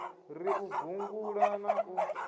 ri u gungula na u